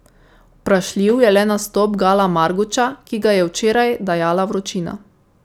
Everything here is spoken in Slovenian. Vprašljiv je le nastop Gala Marguča, ki ga je včeraj dajala vročina.